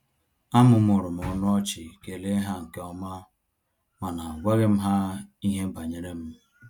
A mụmụrụm ọnụ ọchị kele ha nkeọma, mana agwaghí m ha ihe banyere m